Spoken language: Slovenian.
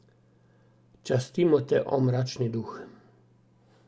Častimo te, o, mračni duh.